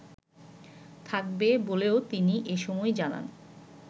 থাকবে বলেও তিনি এসময় জানান